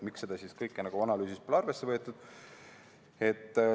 Miks seda kõike analüüsis pole arvesse võetud?